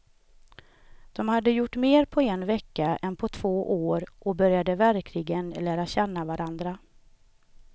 De hade gjort mer på en vecka än på två år och började verkligen lära känna varandra.